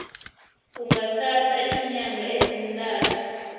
kungathatha iinyanga ezintathu